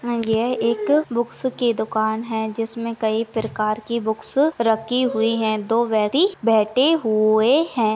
यह एक बुक्स की दुकान है जिसमे कही प्रकार की बुक्स रखी हुई है दो बैैैठे हुए है।